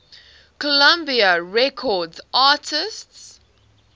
columbia records artists